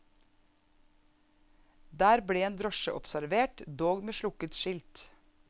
Der ble en drosje observert, dog med slukket skilt.